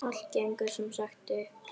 Allt gengur sem sagt upp!